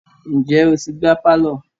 Ǹjẹ́ o ti gbá pálọ̀.